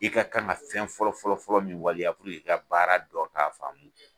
I ka kan ka fɛn fɔlɔ fɔlɔ-fɔlɔ min waleya i ka baara dɔn k'a faamu